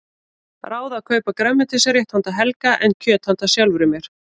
Ráð að kaupa grænmetisrétt handa Helga en kjöt handa sjálfri mér.